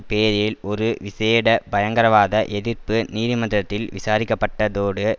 பேரில் ஒரு விசேட பயங்கரவாத எதிர்ப்பு நீதிமன்றத்தில் விசாரிக்கப்பட்டதோடு